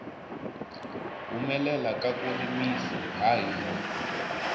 humelela ka ku rimisi ha hina